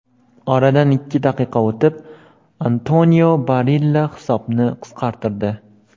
Oradan ikki daqiqa o‘tib, Antonio Barilla hisobni qisqartirdi.